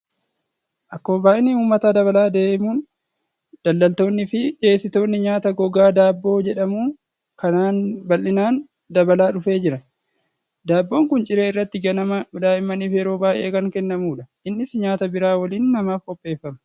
Akkuma baay'inni uummataa dabalaa adeemuun daldaltoonnii fi dhiyeessitoonni nyaata gogaa daabboo jedhamu kanaan bal'inaan dabalaa dhufee jira. Daabboon kun ciree irratti ganama daa'immaniif yeroo baay'ee kan kennamudha. Innis nyaata biraa waliin namaaf qopheeffama.